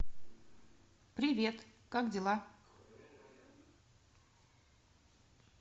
привет как дела